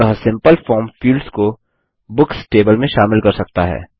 अतः simple form fields को books table में शामिल कर सकता है